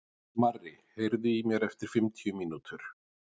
Marri, heyrðu í mér eftir fimmtíu mínútur.